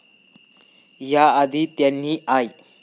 या आधी त्यांनी आय.